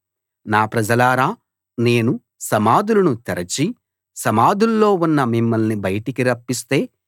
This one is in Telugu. నా ప్రజలారా నేను సమాధులను తెరచి సమాధుల్లో ఉన్న మిమ్మల్ని బయటికి రప్పిస్తే